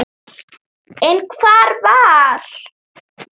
En hvar var